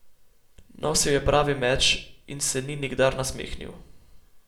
Nosil je pravi meč in se ni nikdar nasmehnil.